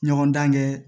Ɲɔgɔndan kɛ